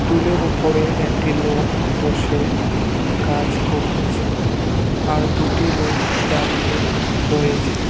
টুল -এর পরে একটি লোক বসে কাজ করতেসে আর দুটি লোক দাঁড়িয়ে রয়েছে।